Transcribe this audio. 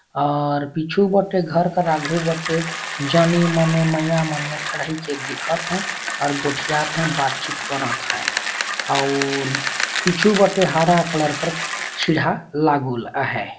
और पीछू बटे घर कर आघू बटे जानी मने मईया मने ठड़इ के देखत है और गोठियात है बात-चीत करत है अउर पीछू बटे हारा कलर कर सीढ़हा लागूल आहय।